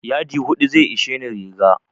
Yadi hudu zai isheni riga.